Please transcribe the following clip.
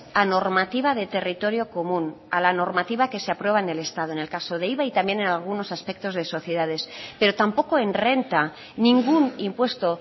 a normativa de territorio común a la normativa que se aprueba en el caso de iva y también en algunos aspectos de sociedades pero tampoco en renta ningún impuesto